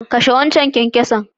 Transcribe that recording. Kashe wancan zakarin!